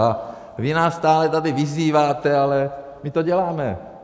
A vy nás stále tady vyzýváte, ale my to děláme.